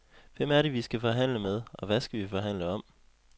Hvem er det, vi skal forhandle med, og hvad skal vi forhandle om.